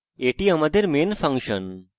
এটি আমাদের main function